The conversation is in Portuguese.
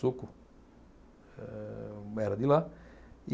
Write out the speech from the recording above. era de lá.